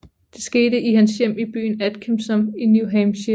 Det skete i hans hjem i byen Atkinsom i New Hampshire